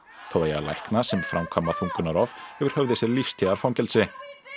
þá eiga læknar sem framkvæma þungunarrof yfir höfði sér lífstíðarfangelsi